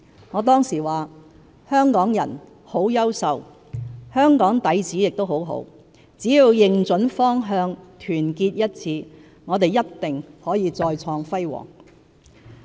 我當時說："香港人很優秀，香港底子也很好，只要認準方向，團結一致，我們一定可以再創輝煌！